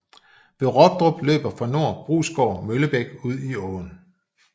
Ved Robdrup løber fra nord Brusgård Møllebæk ud i åen